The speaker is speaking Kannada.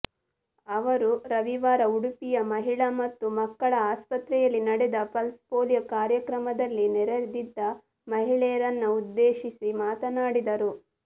ಅವರು ರವಿವಾರ ಉಡುಪಿಯ ಮಹಿಳಾ ಮತ್ತು ಮಕ್ಕಳ ಆಸ್ಪತ್ರೆಯಲ್ಲಿ ನಡೆದ ಪಲ್ಸ್ ಪೋಲಿಯೋ ಕಾರ್ಯಕ್ರಮದಲ್ಲಿ ನೆರೆದಿದ್ದ ಮಹಿಳೆಯರನ್ನ ಉದ್ದೇಶಿಸಿ ಮಾತನಾಡಿದರು